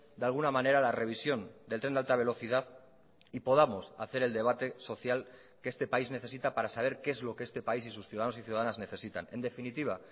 de alguna manera la revisión del tren de alta velocidad y podamos hacer el debate social que este país necesita para saber qué es lo que este país y sus ciudadanos y ciudadanas necesitan en definitiva